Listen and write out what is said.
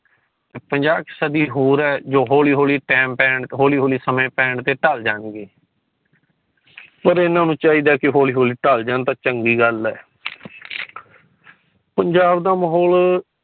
ਪੰਜਾਹ ਕੋ ਸਦੀ ਹੋਰ ਹੈ ਜੋ ਹੋਲੀ ਹੋਲੀ ਟੈਮ ਟੈਮ ਹੋਲੀ ਹੋਲੀ ਸਮੇ ਪੈਨ ਤੇ ਟਾਲ ਜਾਣ ਗੇ ਪਰ ਇਨ੍ਹਾਂ ਨੂੰ ਚੀਦਾ ਕਿ ਹੋਲੀ ਹੋਲੀ ਟਾਲ ਜਾਣ ਤਾ ਚੰਗੀ ਗੱਲ ਹੈ ਪੰਜਾਬ ਦਾ ਮੋਹਲ